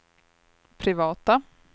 privata